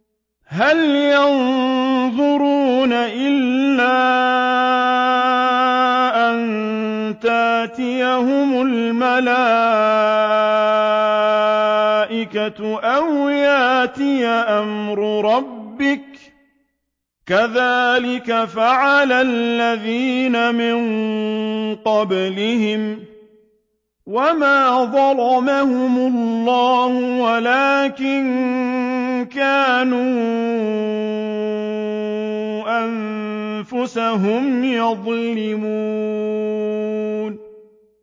هَلْ يَنظُرُونَ إِلَّا أَن تَأْتِيَهُمُ الْمَلَائِكَةُ أَوْ يَأْتِيَ أَمْرُ رَبِّكَ ۚ كَذَٰلِكَ فَعَلَ الَّذِينَ مِن قَبْلِهِمْ ۚ وَمَا ظَلَمَهُمُ اللَّهُ وَلَٰكِن كَانُوا أَنفُسَهُمْ يَظْلِمُونَ